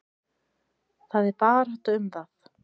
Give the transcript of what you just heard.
Það er barátta um það.